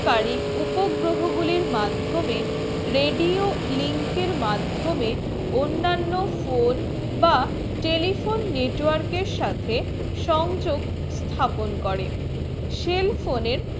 কারী উপগ্রহ গুলি মাধমিয়ে radio link এর মাধমিয়ে অন্নান্ন phone বা telephone network এর সাথে সংযুক্ত স্থাপন করে cell phone এর